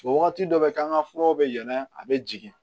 Wagati dɔ bɛ k'an ka furaw bɛ yɛlɛ a bɛ jigin